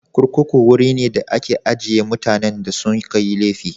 Kurkuku wuri ne da ake ajiye mutanen da suka yi laifi.